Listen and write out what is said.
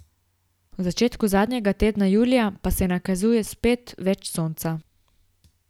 V začetku zadnjega tedna julija pa se nakazuje spet več sonca.